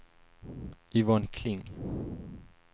Yvonne Kling